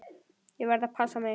Ég verð að passa mig.